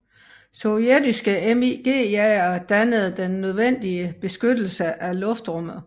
Sovjetiske MiG jagere dannede den nødvendige beskyttelse af luftrummet